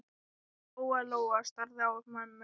Lóa-Lóa starði á mömmu.